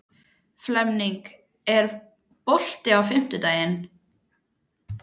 Flemming, er bolti á fimmtudaginn?